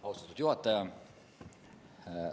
Austatud juhataja!